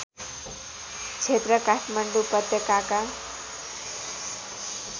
क्षेत्र काठमाण्डौँ उपत्यकाका